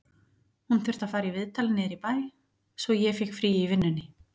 Hún þurfti að fara í viðtal niður í bæ, svo ég fékk frí í vinnunni